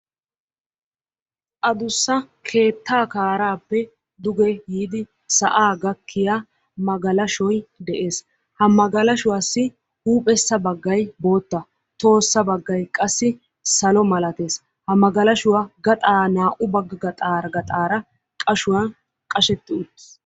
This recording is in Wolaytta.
Addussa keettaa kaaraappe duge yiidi sa'aa gakkiya magallashoy de'ees. ha magalashuwaassi huuphessa bagay bootta. tohossa bagay qassi salo malatees. hagalashoy naa'u bagaara qashetti utiis.